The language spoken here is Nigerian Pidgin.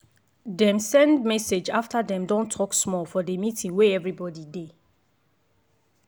dem send message after dem don talk small for the meeting wey everybody dey.